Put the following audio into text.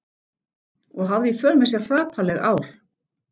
Og hafði í för með sér hrapalleg ár.